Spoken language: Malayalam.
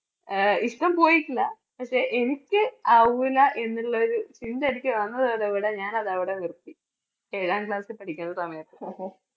ആഹ് ഇഷ്ടം പോയിട്ടില്ല പക്ഷേ എനിക്ക് ആവൂല എന്നുള്ള ഒരു ചിന്ത എനിക്ക് വന്നതോതോടെ ഞാൻ അതവിടെ നിർത്തി ഏഴാം class ൽ പഠിക്കുന്ന സമയത്ത്